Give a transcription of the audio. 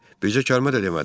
bircə kəlmə də demədim.